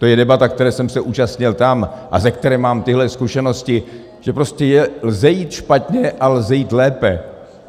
To je debata, které jsem se účastnil tam a ze které mám tyhle zkušenosti, že prostě lze jít špatně a lze jít lépe.